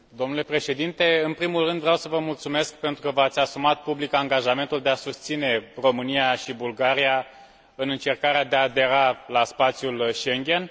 Domnule Președinte, în primul rând vreau să vă mulțumesc pentru că v ați asumat public angajamentul de a susține România și Bulgaria în încercarea de a adera la spațiul Schengen.